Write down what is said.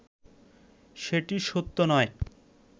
সেটি সত্য নয়